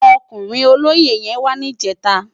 Òkúrin ólóyé yèn wà nijètá